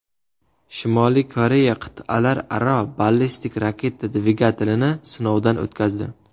Shimoliy Koreya qit’alararo ballistik raketa dvigatelini sinovdan o‘tkazdi.